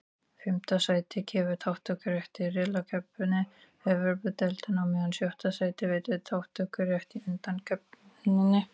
Fimmta sætið gefur þátttökurétt í riðlakeppni Evrópudeildarinnar, á meðan sjötta sætið veitir þátttökurétt í undankeppninni.